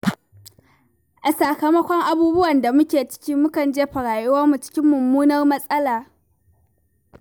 A sakamakon abubuwan da muke ci, mukan jefa rayuwarmu cikin mummunar matsala.